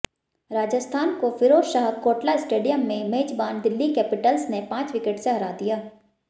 राजस्थान को फिरोजशाह कोटला स्टेडियम में मेजबान दिल्ली कैपिटल्स ने पांच विकेट से हरा दिया